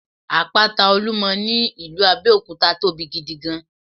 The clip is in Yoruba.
Àpáta Olúmo ní ìlú Abéòkúta tóbi gidi gan